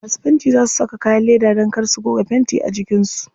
Masu fentin za su saka kayan leda dan kar su goga fenti a jikin su.